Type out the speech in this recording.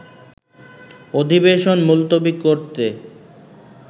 অধিবেশন মুলতবি করেতে